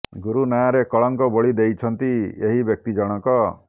ଗୁରୁ ନାଁରେ କଳଙ୍କ ବୋଳି ଦେଇଛନ୍ତି ଏହି ବ୍ୟକ୍ତି ଜଣକ